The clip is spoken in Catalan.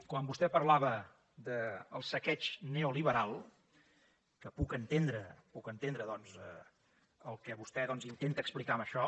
quan vostè parlava del saqueig neoliberal que puc entendre puc entendre el que vostè intenta explicar amb això